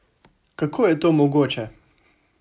Kako je to mogoče?